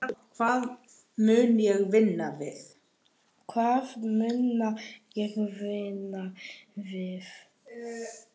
Hvað mun ég vinna við?